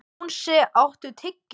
Jónsi, áttu tyggjó?